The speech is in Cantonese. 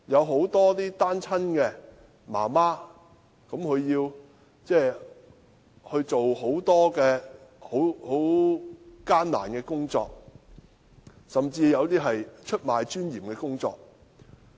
很多單親媽媽也要做很多艱苦的工作，甚至是出賣尊嚴的工作。